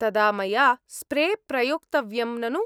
तदा मया स्प्रे प्रयोक्तव्यम्, ननु?